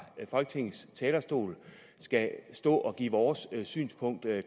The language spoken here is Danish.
folketingets talerstol skal stå og give vores synspunkt